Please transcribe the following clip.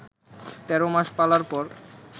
১৩ মাস পালার পর